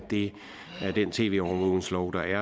den tv overvågningslov der er